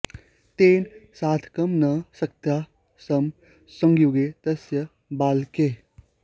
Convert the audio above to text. तेन सार्धं न शक्ताः स्म संयुगे तस्य बालकैः